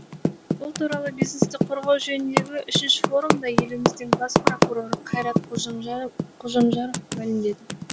бұл туралы бизнесті қорғау жөніндені үшінші форумда еліміздің бас прокуроры қайрат қожамжаров мәлімдеді